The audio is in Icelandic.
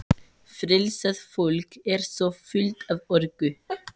Frelsað fólk er svo fullt af orku.